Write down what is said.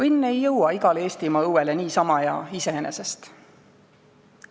Õnn ei jõua igale Eestimaa õuele niisama ja iseenesest.